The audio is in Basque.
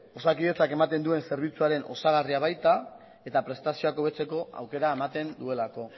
osakidetzak ematen duen zerbitzuen osagarria baita eta prestazioa hobetzeko aukera ematen duelako